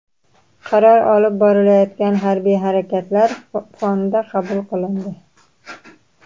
Qaror olib borilayotgan harbiy harakatlar fonida qabul qilindi.